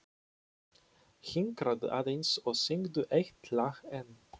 Hinkraðu aðeins og syngdu eitt lag enn.